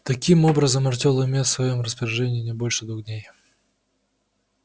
таким образом артём имел в своём распоряжении не больше двух дней